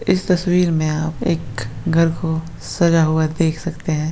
इस तस्वीर में आप एक घर को सजा हुआ देख सकते हैं।